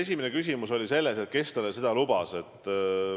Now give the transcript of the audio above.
Esimene küsimus oli, et kes talle seda lubas.